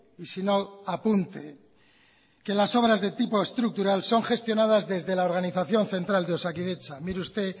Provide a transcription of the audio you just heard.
y sino apunte que las obras de tipo estructural son gestionadas desde la organización central de osakidetza mire usted